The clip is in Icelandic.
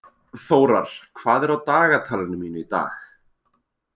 Þórar, hvað er á dagatalinu mínu í dag?